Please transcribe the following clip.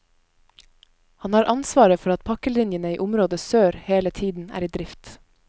Han har ansvaret for at pakkelinjene i område sør hele tiden er i drift.